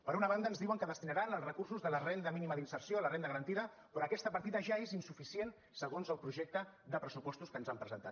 per una banda ens diuen que destinaran els recursos de la renda mínima d’inserció a la renda garantida però aquesta partida ja és insuficient segons el projecte de pressupostos que ens han presentat